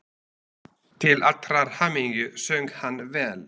Til allrar hamingju söng hann vel!